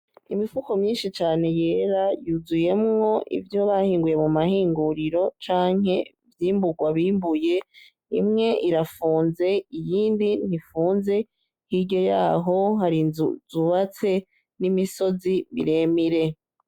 Imifuko myinshi cane yera yuzuyemwo ivyo bahinguye mu mahinguriro canke vyimburwa bimbuye imwe irafunze iyindi ntifunze hiryo yaho hari inzu zubatse n'imisozi miremire.